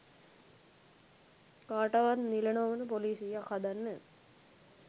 කාටවත් නිල නොවන පොලිසියක් හදන්න